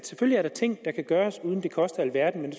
selvfølgelig er ting der kan gøres uden at det koster alverden men